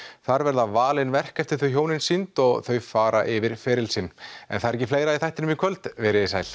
þar verða valin verk eftir þau hjón sýnd og þau fara yfir feril sinn en það er ekki fleira í þættinum í kvöld verið þið sæl